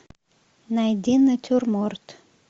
найди натюрморт